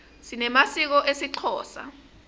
sinemasiko esixhosa